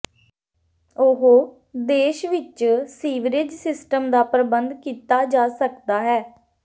ਉਹ ਦੇਸ਼ ਵਿਚ ਸੀਵਰੇਜ ਸਿਸਟਮ ਦਾ ਪ੍ਰਬੰਧ ਕੀਤਾ ਜਾ ਸਕਦਾ ਹੈ